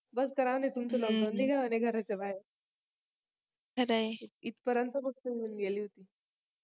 बस करा तुमचं आणि तुमचं LOCKDOWN निघा आणि घराच्या बाहेर खरय इथपर्यंत गोष्ट येऊन गेली होती